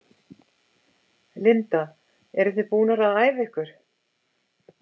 Linda: Eruð þið búnar að æfa ykkur?